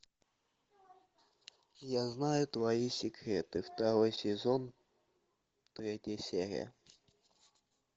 я знаю твои секреты второй сезон третья серия